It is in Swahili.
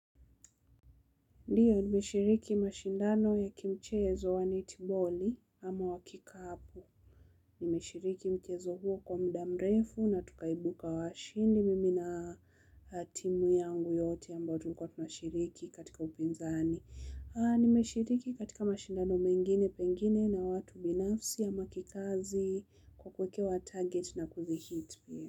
Ndiyo, nimeshiriki mashindano ya kimchezo wa netiboli ama wa kikapu. Nimeshiriki mchezo huo kwa mda mrefu na tukaibuka washindi mimi na timu yangu yote ambao tulikuwa tunashiriki katika upinzani. Nimeshiriki katika mashindano mengine, pengine na watu binafsi ama kikazi kwa kuekewa target na kuzihit pia.